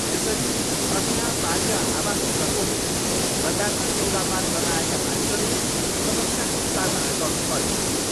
यसरी असिना, पानी र हावाको प्रकोपले बजारमा सौदापात गर्न आएका मानिसहरूले समस्याको सामना गर्नुपर्यो।